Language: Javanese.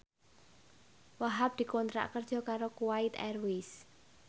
Wahhab dikontrak kerja karo Kuwait Airways